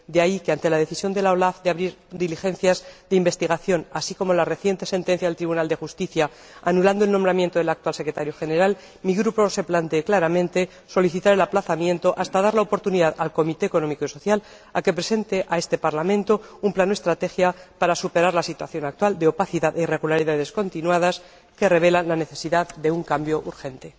De ahí que, ante la decisión de la OLAF de abrir diligencias de investigación, así como ante la reciente sentencia del Tribunal General anulando la convocatoria para proveer la plaza de Secretario General del CESE, mi Grupo se plantee claramente solicitar el aplazamiento hasta dar la oportunidad al Comité Económico y Social para que presente a este Parlamento un plan o estrategia para superar la situación actual de opacidad e irregularidades continuadas, que revelan la necesidad de un cambio urgente.